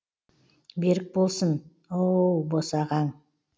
берік болсын ооооооуууууууу босағаң